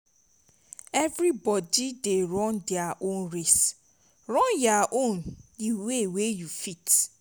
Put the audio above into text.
plenti pipo stil dey form say mental health na lamba but e dey tru tru